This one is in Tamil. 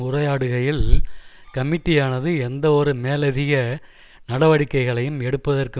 உரையாடுகையில் கமிட்டியானது எந்தவொரு மேலதிக நடவடிக்கைகளையும் எடுப்பதற்கு